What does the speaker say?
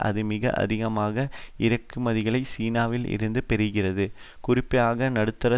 அது மிக அதிகமான இறக்குமதிகளை சீனாவில் இருந்து பெறுகிறது குறிப்பாக நடுத்தர